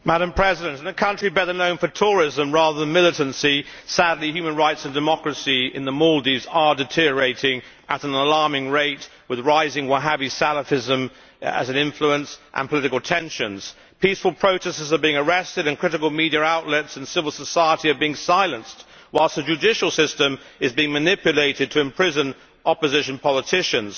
Madam President, in a country better known for tourism rather than militancy, sadly human rights and democracy in the Maldives are deteriorating at an alarming rate with rising Wahhabi Salafism as an influence and political tensions. Peaceful protestors are being arrested and critical media outlets in civil society are being silenced, whilst the judicial system is being manipulated to imprison opposition politicians.